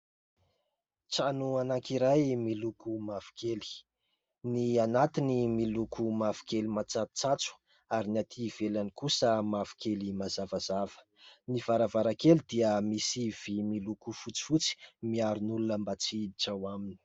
Trano anankiray miloko mavokely, ny anatiny miloko mavokely matsatsotsatso ary ny atỳ ivelany kosa mavokely mazavazava. Ny varavarankely dia misy vy miloko fotsifotsy, miaro ny olona mba tsy hiditra ao aminy.